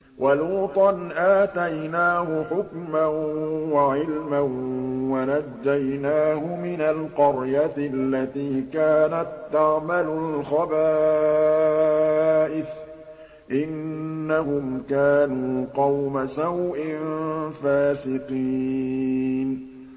وَلُوطًا آتَيْنَاهُ حُكْمًا وَعِلْمًا وَنَجَّيْنَاهُ مِنَ الْقَرْيَةِ الَّتِي كَانَت تَّعْمَلُ الْخَبَائِثَ ۗ إِنَّهُمْ كَانُوا قَوْمَ سَوْءٍ فَاسِقِينَ